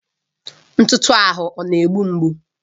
Ntụtụ ahụ ọ na-egbu mgbu?